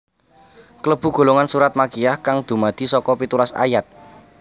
Kalebu golongan surat Makkiyah kang dumadi saka pitulas ayat